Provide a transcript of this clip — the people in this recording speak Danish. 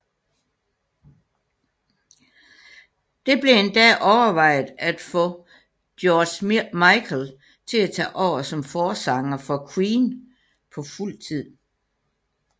Det blev endda overvejet at få George Michael til at tage over som forsanger for Queen på fuldtid